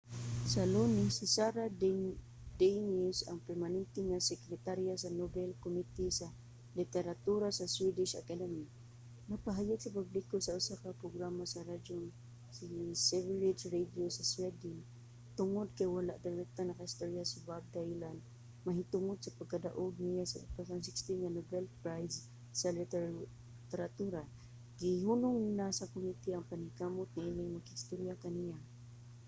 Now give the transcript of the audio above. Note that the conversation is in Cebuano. sa lunes si sara danius ang permanente nga sekretarya sa nobel committee sa literatura sa swedish academy nagpahayag sa publiko sa usa ka programa sa radyo nga sveriges radio sa sweden nga tungod kay wala direktang nakaistorya si bob dylan mahitungod sa pagkadaog niya sa 2016 nga nobel prize sa literatura gihunong na sa committee ang paningkamot niining makigstorya kaniya